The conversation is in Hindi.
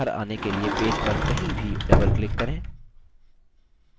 समूह से बाहर आने के लिए पेज पर कहीं भी doubleclick करें